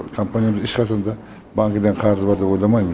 компаниямыз ешқашанда банктен қарызы бар деп ойламаймын